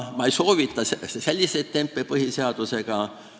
Ma ei soovita selliseid tempe põhiseadusega teha.